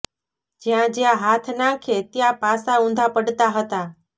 જ્યાં જ્યાં હાથ નાંખે ત્યાં પાસા ઊંધા પડતા હતાં